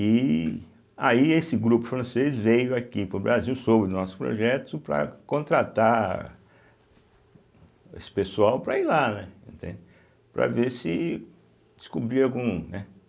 E aí esse grupo francês veio aqui para o Brasil, soube do nosso projeto, para contratar esse pessoal para ir lá, né, entende, para ver se descobria algum, né.